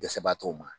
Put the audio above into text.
Dɛsɛbagatɔw ma